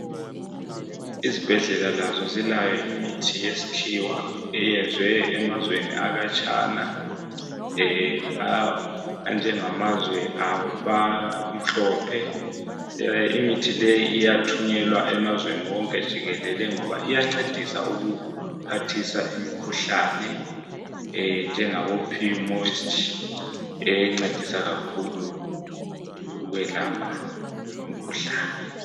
Izibhedlela lazo zilayo imithi yesikhiwa eyenzwe emazweni akhatshana, anjengamazwe abamhlophe. Imithi leyi iyathunyelwa emazweni onke jikelele ngoba iyancedisa ukuphathisa umkhuhlane, njengabo purmoist, encedisa kakhulu ukwelapha imkhuhlane